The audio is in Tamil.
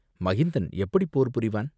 மகிந்தன் எப்படிப் போர் புரிவான்?